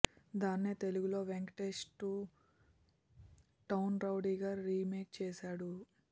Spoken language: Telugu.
దాన్నే తెలుగులో వెంకటేష్ టూ టౌన్ రౌడీగా రీమేక్ చేశాడు